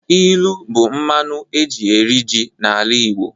Ilu bụ mmanụ eji eri ji n'ala Igbo